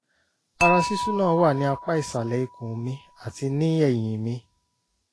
ara ṣíṣú náà wà ní apá ìsàlẹ̀ ikùn mi àti ní ẹ̀yìn mi